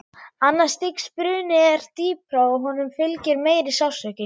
Annars stigs bruni er dýpri og honum fylgir meiri sársauki.